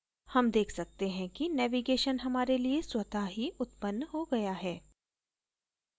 हम देख सकते हैं कि navigation हमारे लिए स्वत: ही उत्पन्न हो गया है